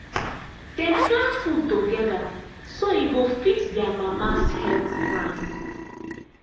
dem plan food together so e go fit their mama’s health plan.